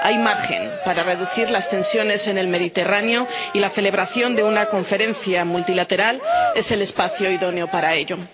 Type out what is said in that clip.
Hay margen para reducir las tensiones en el Mediterráneo y la celebración de una conferencia multilateral es el espacio idóneo para ello.